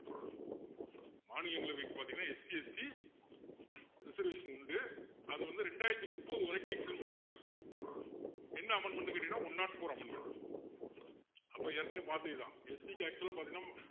மாநிலங்களை வைத்து பார்த்தீங்கன்னா SCST reservation உண்டு அது வந்து இரண்டாயிரத்து முப்பது வரைக்கும் extend பண்ணிருக்காங்க என்ன amendment ன்னு கேட்டீங்கன்னா one not four amendment அப்போ ஏற்கனவே பார்த்ததுதான் ST க்கு actual ஆ பாத்திங்கன்னா